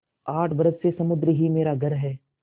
आठ बरस से समुद्र ही मेरा घर है